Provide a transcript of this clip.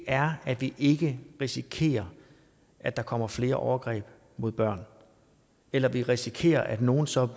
er at vi ikke risikerer at der kommer flere overgreb mod børn eller at vi risikerer at nogle så